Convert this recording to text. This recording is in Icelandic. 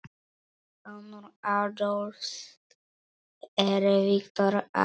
Sonur Adolfs er Viktor Aron.